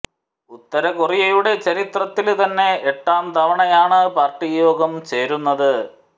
ഉത്തര കൊറിയയുടെ ചരിത്രത്തില് തന്നെ എട്ടാം തവണയാണ് പാര്ട്ടി യോഗം ചേരുന്നത്